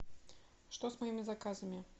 что с моими заказами